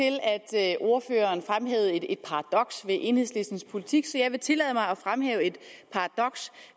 til at ordføreren fremhævede et paradoks ved enhedslistens politik så jeg vil tillade mig at fremhæve et paradoks